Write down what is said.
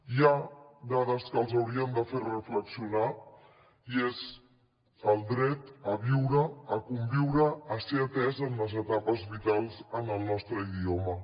hi ha dades que ens haurien de fer reflexionar i és el dret a viure a conviure a ser atès en les etapes vitals en el nostre idioma